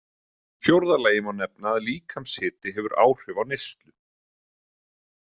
Í fjórða lagi má nefna að líkamshiti hefur áhrif á neyslu.